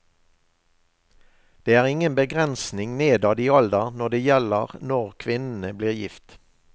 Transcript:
Det er ingen begrensning nedad i alder når det gjelder når kvinnene blir gift.